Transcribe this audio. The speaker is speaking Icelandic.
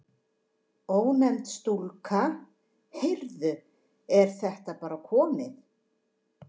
Ónefnd stúlka: Heyrðu, er þetta bara komið?